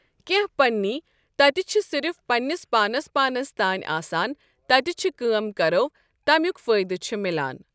کینٛہہ پنٕنۍ تتہ چھ صرف پنٛنس پانس پانس تانۍ آسان تتہ چھ کٲم کرو تمیک فٲیدٕ چھ ملان۔